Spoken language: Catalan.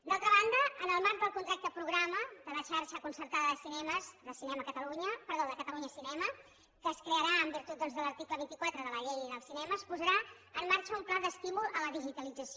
d’altra banda en el marc del contracte programa de la xarxa concertada de cinemes de catalunya cinema que es crearà en virtut doncs de l’article vint quatre de la llei del cinema es posarà en marxa un pla d’estímul a la digitalització